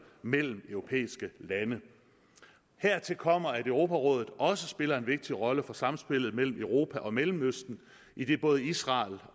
mellem europæiske lande hertil kommer at europarådet også spiller en vigtig rolle for samspillet mellem europa og mellemøsten idet både israel